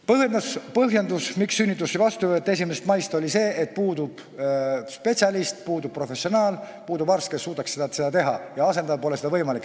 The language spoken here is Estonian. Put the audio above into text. Põhjenduseks, miks ei võeta sünnitusi vastu 1. maist, toodi see, et puudub spetsialist, professionaal, arst, kes suudaks seda teha, ja et asendada pole võimalik.